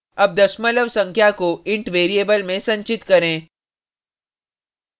अब दशमलव संख्या को int variable में संचित करें